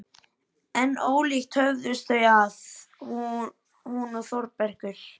En ólíkt höfðust þau að, hún og Þórbergur.